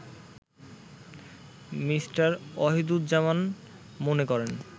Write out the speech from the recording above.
me: Wahiduzzaman মনে করেন